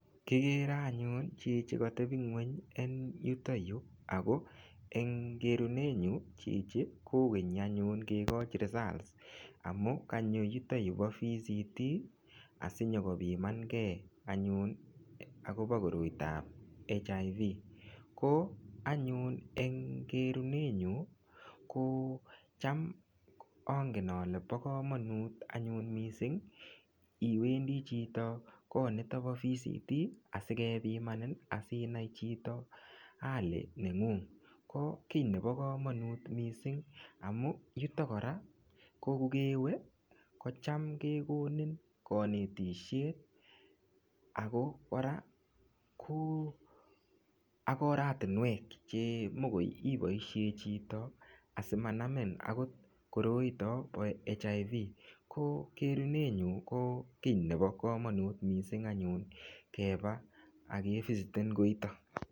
Kigere anyun chichi katebing'weny en yutoyu Ako eng kerunenyu chichi kokenyi anyun kekoch results amu kanyoyutoyu po vct asinyoko pimankee anyun akopo koroitap HIV ko anyun eng kerunenyu ko cham angen ale po komonut anyun mising iwendi chito anyun kot nito po vct asikepimanin asinai chito hali neng'ung ko kiy nebo komonut mising amun yuto kora ko kukewe kocham kekonin kinetishie akokora oratunwek chemogio ipoishe chito asimanamin koroito po HIV ko kerunenyu ko kiy nebo komonut mising anyun keba akevisiten koito.